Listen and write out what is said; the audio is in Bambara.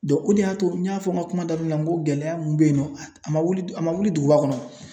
o de y'a to n y'a fɔ n ka kuma daminɛ na n ko gɛlɛya mun be yen nɔ a man wuli a man wuli duguba kɔnɔ o.